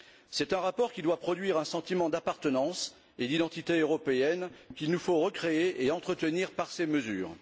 C'est un rapport qui doit produire un sentiment d'appartenance et d'identité européenne qu'il nous faut recréer et entretenir par ces mesures.